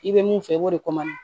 I bɛ mun fɛ i b'o de